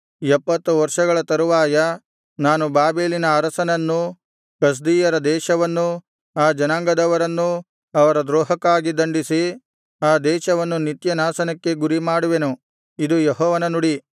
ಎಪ್ಪತ್ತು ವರ್ಷಗಳ ತರುವಾಯ ನಾನು ಬಾಬೆಲಿನ ಅರಸನನ್ನೂ ಕಸ್ದೀಯರ ದೇಶವನ್ನೂ ಆ ಜನಾಂಗದವರನ್ನೂ ಅವರ ದ್ರೋಹಕ್ಕಾಗಿ ದಂಡಿಸಿ ಆ ದೇಶವನ್ನು ನಿತ್ಯನಾಶನಕ್ಕೆ ಗುರಿಮಾಡುವೆನು ಇದು ಯೆಹೋವನ ನುಡಿ